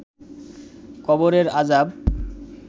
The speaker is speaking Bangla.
কবরের আযাব